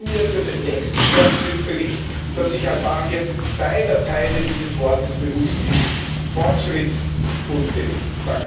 Ich wünsche mir für den nächsten Fortschrittsbericht, dass sich Albanien beider Teile dieses Worts bewusst ist Fortschritt und Bericht.